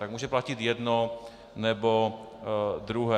Tak může platit jedno, nebo druhé.